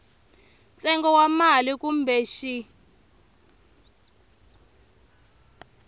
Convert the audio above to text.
ntsengo wa mali kumbe xin